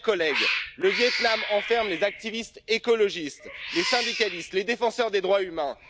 Chers collègues, le Viêt Nam enferme les activistes écologistes, les syndicalistes, les défenseurs des droits humains.